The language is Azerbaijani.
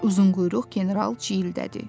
Uzunquyruq general ciyildədi.